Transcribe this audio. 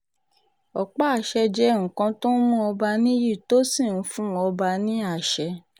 ọ̀pá àṣẹ jẹ́ nǹkan tó ń mú ọba níyì tó sì ń fún ọba ní àṣẹ